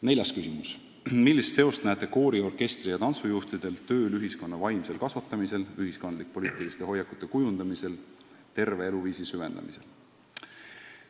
Neljas küsimus: "Millist seost näete koori-, orkestri- ja tantsujuhtide tööl ühiskonna vaimsel kasvatamisel, ühiskondlik-poliitiliste hoiakute kujundamisel, terve eluviisi süvendamisel?